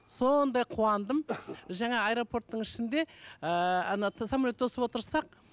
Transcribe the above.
сондай қуандым жаңа аэропорттың ішінде ыыы самолет тосып отырсақ